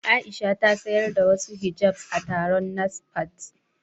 Aisha ta sayar da wasu hijabs a taron NASFAT.